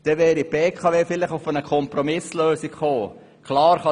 Dann wäre die BKW vielleicht zu einer Kompromisslösung gekommen.